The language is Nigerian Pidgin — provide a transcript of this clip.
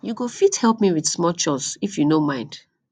you go fit help me with small chores if you no mind